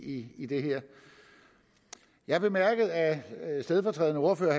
i i det her jeg bemærkede at stedfortrædende ordfører